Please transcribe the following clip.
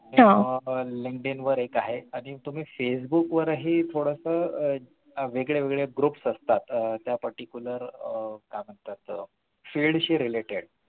आह Linkdin वर एका आहे आणि तुम्ही facebook वरही थोडसं आह वेगळे वेगळे groups असतात आह त्या particular आह काय म्हणतात field related